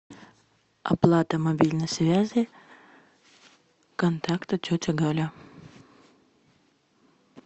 оплата мобильной связи контакта тетя галя